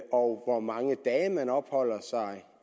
og hvor mange dage man opholder sig